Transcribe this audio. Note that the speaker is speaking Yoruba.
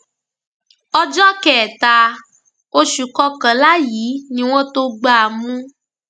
ọjọ kẹta oṣù kọkànlá yìí ni wọn tóó gbá a mú